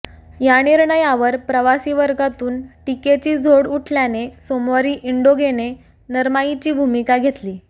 या निर्णयावर प्रवासीवर्गातून टीकेची झोड उठल्याने सोमवारी इंडिगोने नरमाईची भूमिका घेतली